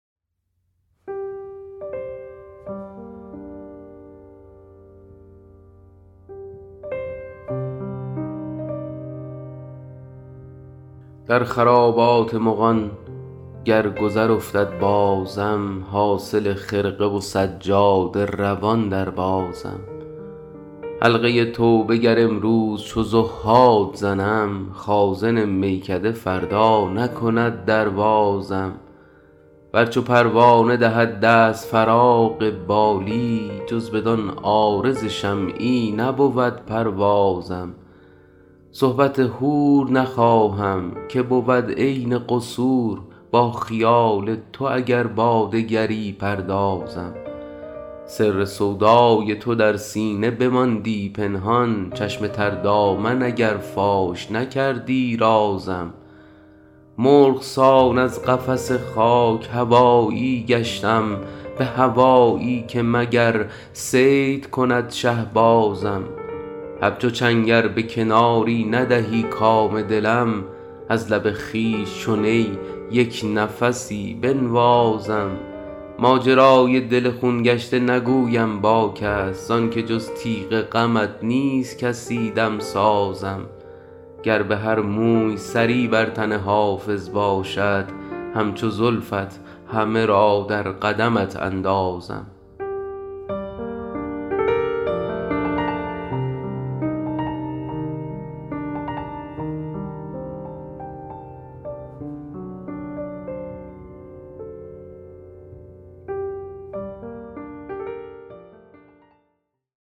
در خرابات مغان گر گذر افتد بازم حاصل خرقه و سجاده روان دربازم حلقه توبه گر امروز چو زهاد زنم خازن میکده فردا نکند در بازم ور چو پروانه دهد دست فراغ بالی جز بدان عارض شمعی نبود پروازم صحبت حور نخواهم که بود عین قصور با خیال تو اگر با دگری پردازم سر سودای تو در سینه بماندی پنهان چشم تر دامن اگر فاش نکردی رازم مرغ سان از قفس خاک هوایی گشتم به هوایی که مگر صید کند شهبازم همچو چنگ ار به کناری ندهی کام دلم از لب خویش چو نی یک نفسی بنوازم ماجرای دل خون گشته نگویم با کس زان که جز تیغ غمت نیست کسی دمسازم گر به هر موی سری بر تن حافظ باشد همچو زلفت همه را در قدمت اندازم